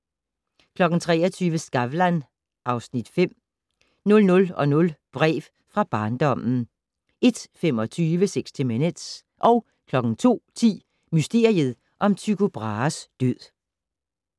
23:00: Skavlan (Afs. 5) 00:00: Brev fra barndommen 01:25: 60 Minutes 02:10: Mysteriet om Tycho Brahes død